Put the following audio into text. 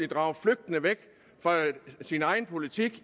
drager flygtende væk fra sin egen politik